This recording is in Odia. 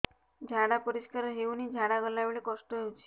ଝାଡା ପରିସ୍କାର ହେଉନି ଝାଡ଼ା ଗଲା ବେଳେ କଷ୍ଟ ହେଉଚି